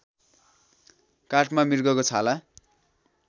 काठमा मृगको छाला